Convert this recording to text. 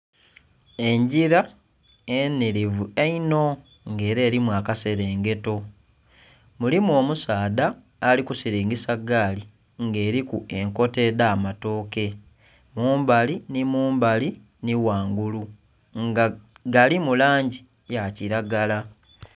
Engila enhilivu einho nga ela elimu akaselengeto. Mulimu omusaadha ali kusilingisa gaali nga eliku enkota edh'amatooke, mumbali nhi mumbali nhi ghangulu nga galimu langi ya kilagala.